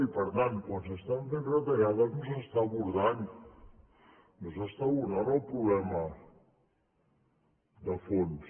i per tant quan s’estan fent retallades no s’està abordant el problema de fons